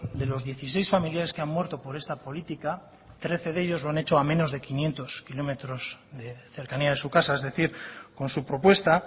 de los dieciséis familiares que han muerto por esta política trece de ellos lo han hecho a menos de quinientos kilómetros de cercanía de su casa es decir con su propuesta